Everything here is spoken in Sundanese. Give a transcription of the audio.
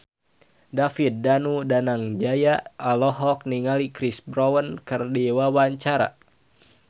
David Danu Danangjaya olohok ningali Chris Brown keur diwawancara